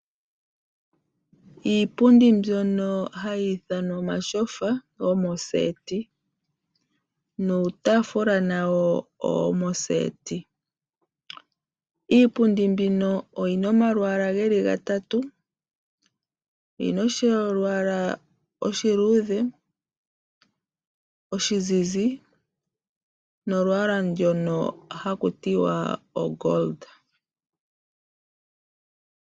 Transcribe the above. Iipundi mbyono hayi ithwanwa omatyofa gomoseti nuutaafula nawo owo moseti. Iipundi mbino oyi na omalwaala ge li gatatu. Oyi na olwaala oluluudhe, oluzizi nolwaala ndono haku tiwa oshingoli.